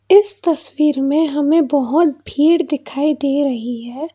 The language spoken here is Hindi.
इस तस्वीर में हमें बहोत भीड़ दिखाई दे रही है।